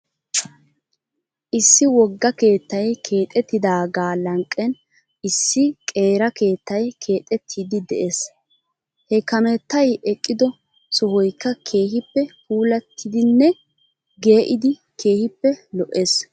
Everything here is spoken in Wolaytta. Issi wogga keettay keexettidaagaa lanqqen issi qeera keettay keexettiidi de'es. He kameettay eqqido sohoykka keehippe puulattidinne gee'idi keehippe lo'es .